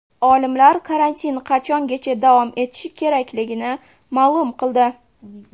Olimlar karantin qachongacha davom etishi kerakligini ma’lum qildi.